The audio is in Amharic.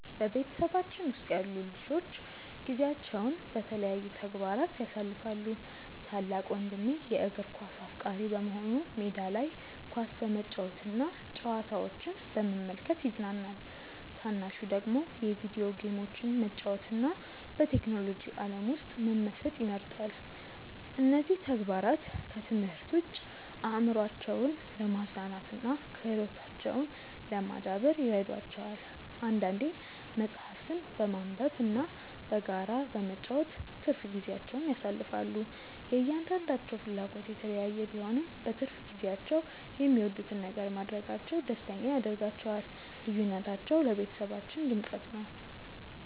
በቤተሰባችን ውስጥ ያሉት ልጆች ጊዜያቸውን በተለያዩ ተግባራት ያሳልፋሉ። ታላቅ ወንድሜ የእግር ኳስ አፍቃሪ በመሆኑ ሜዳ ላይ ኳስ በመጫወትና ጨዋታዎችን በመመልከት ይዝናናል። ታናሹ ደግሞ የቪዲዮ ጌሞችን መጫወትና በቴክኖሎጂ ዓለም ውስጥ መመሰጥ ይመርጣል። እነዚህ ተግባራት ከትምህርት ውጭ አእምሯቸውን ለማዝናናትና ክህሎታቸውን ለማዳበር ይረዷቸዋል። አንዳንዴም መጽሐፍትን በማንበብና በጋራ በመጫወት ትርፍ ጊዜያቸውን ያሳልፋሉ። የእያንዳንዳቸው ፍላጎት የተለያየ ቢሆንም፣ በትርፍ ጊዜያቸው የሚወዱትን ነገር ማድረጋቸው ደስተኛ ያደርጋቸዋል። ልዩነታቸው ለቤተሰባችን ድምቀት ነው።